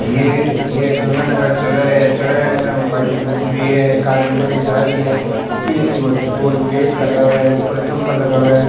ये ये एक गंगानगर चौराहा चौराहा में गाड़ी घूम रही है एक आध लुगाई जा रही है पुलिस की वो गेट लगा हुआ है ऊपर थम्बा लगा हुआ है।